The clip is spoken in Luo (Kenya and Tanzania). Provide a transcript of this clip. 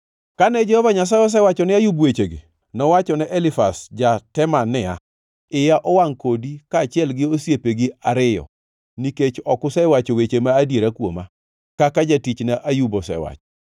Kane Jehova Nyasaye osewacho ne Ayub wechegi, nowachone Elifaz ja-Teman niya, “Iya owangʼ kodi kaachiel gi osiepegi ariyo, nikech ok usewacho weche ma adieri kuoma, kaka jatichna Ayub osewacho.